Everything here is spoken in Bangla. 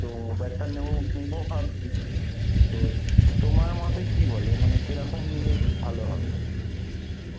তো একটা নেব নোব ভাবছি, তো তোমার মতে কী বলে মানে কেরকম নিলে ভালো হবে?